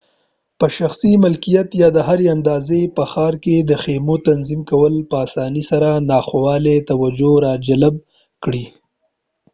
په شخصي ملکیت یا د هري اندازې په ښار کې د خیمو تنظیم کول په اسانۍ سره ناخوالې توجه راجلب کړي